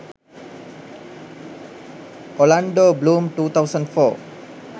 orlando bloom 2004